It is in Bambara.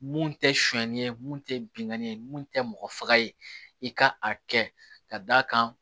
Mun tɛ sonni ye mun tɛ binkanni ye mun tɛ mɔgɔ faga ye i ka a kɛ ka d'a kan